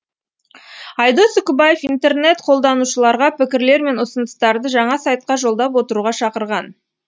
айдос үкібаев интернет қолданушыларға пікірлер мен ұсыныстарды жаңа сайтқа жолдап отыруға шақырған